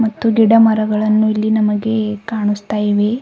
ಮತ್ತು ಗಿಡಮರಗಳನ್ನು ಇಲ್ಲಿ ನಮಗೆ ಕಾಣುಸ್ತಾ ಇವೆ.